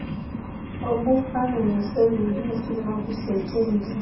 obufana nesirinji esinokusetyenziswa